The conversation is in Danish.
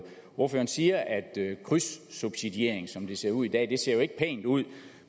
ordføreren siger at krydssubsidiering som det ser ud i dag ikke ser pænt ud